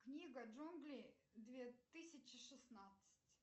книга джунглей две тысячи шестнадцать